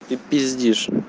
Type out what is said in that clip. ты пиздишь